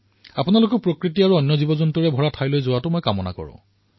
আপোনালোকেও প্ৰকৃতি আৰু বন্য জীৱনৰ সৈতে জড়িত স্থানসমূহলৈ নিশ্চয়কৈ যাওক